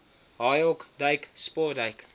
haaihok duik sportduik